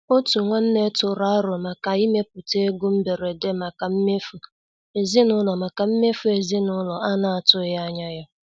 Òtù nwanne tụrụ àrò ịmèpụta égò mbèrédè maka mmèfù ezinúlọ̀ maka mmèfù ezinúlọ̀ a na-atùghị anya ya.